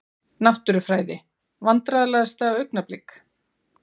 Náttúrufræði Vandræðalegasta augnablik?